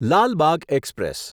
Lal Bagh express